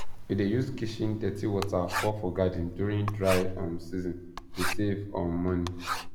we dey use kitchen dirty water pour for garden during dry um seasone dey save um money